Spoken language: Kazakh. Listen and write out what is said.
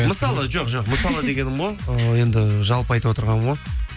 мысалы жоқ жоқ мысалы дегенім ғой ыыы енді жалпы айтып отырғаным ғой